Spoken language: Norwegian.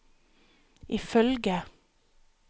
ifølge